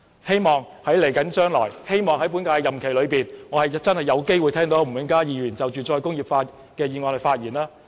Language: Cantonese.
希望在本屆任期內，我有機會聽到吳永嘉議員就"再工業化"的議案發言。